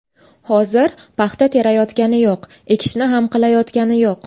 Hozir paxta terayotgani yo‘q, ekishni ham qilayotgani yo‘q.